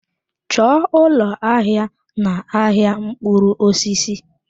Chọọ ụlọ ahịa n-ahịa mkpụrụ osisi!